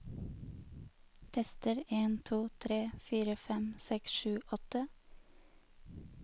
Tester en to tre fire fem seks sju åtte